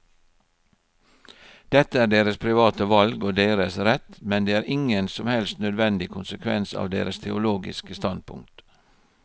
Dette er deres private valg og deres rett, men det er ingen som helst nødvendig konsekvens av deres teologiske standpunkt.